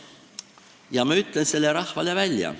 Ja ma ütlen selle rahvale välja.